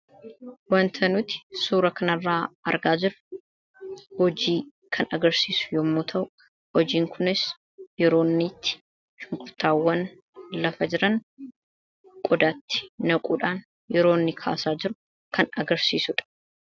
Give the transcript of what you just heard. Wanta nuti suura kanarraa argaa jira hojii kan agarsiisu yommuu ta'u hojiin kunis yeroo inni itti shunqurtaawwan lafa jiran qodaatti naquudhaan yeroo inni kaasaa jiru kan agarsiisuudha.